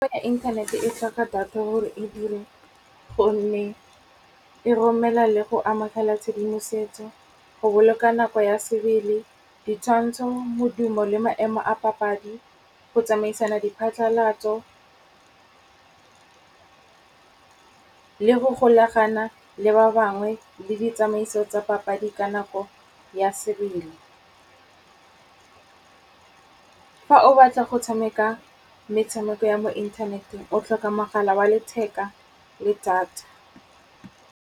Inthanete e tlhoka data gore e dire gonne e romela le go amagela tshedimosetso, go boloka nako ya sebele, ditshwantsho, modumo le maemo a papadi, go tsamaisana diphatlalatso le go golagana le ba bangwe le ditsamaiso tsa papadi ka nako ya sebele. Fa o batla go tshameka metshameko ya mo inthaneteng o tlhoka mogala wa letheka le data.